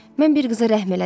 Mən bir qıza rəhm elədim Harry.